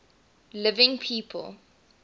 living people